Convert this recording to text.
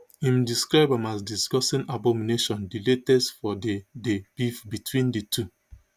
im describe am as disgusting abomination di latest for di di beef between di two